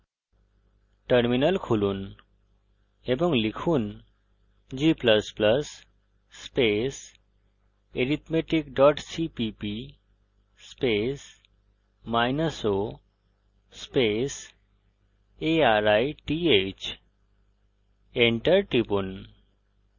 terminal খুলুন এবং লিখুন g ++ arithmetic cppo arith enter টিপুন